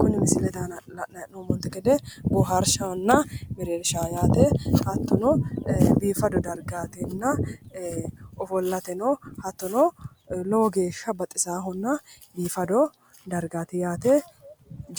Kuni misilete aana la'nayi hee'noommonte gede boohaarshahonna mereershaho yaate hattono biifado dargaatinna ofollateno hattono lowo geeshsha baxisaahonna biifado dargaati yaate